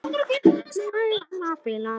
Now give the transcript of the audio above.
Nær væri að spila Lúdó.